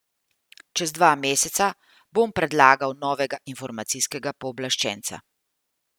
Čez dva meseca bom predlagal novega informacijskega pooblaščenca.